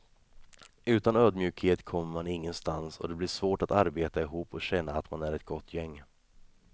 Utan ödmjukhet kommer man ingenstans och det blir svårt att arbeta ihop och känna att man är ett gott gäng.